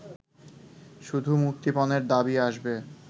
শুধু মুক্তিপণের দাবি আসবে